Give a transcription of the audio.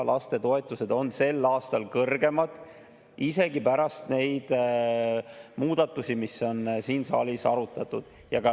toetused on sel aastal kõrgemad isegi pärast neid muudatusi, mida on siin saalis arutatud.